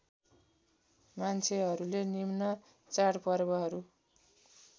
मान्छेहरूले निम्न चाडपर्वहरू